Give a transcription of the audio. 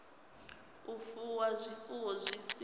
u fuwa zwifuwo zwi si